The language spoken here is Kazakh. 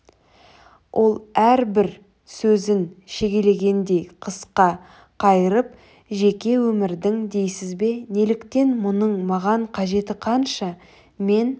ол әрбір сөзін шегелегендей қысқа қайырып жеке өмірдің дейсіз бе неліктен мұның маған қажеті қанша мен